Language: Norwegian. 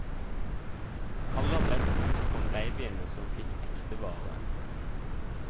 Aller best ut kom babyene som fikk ekte vare.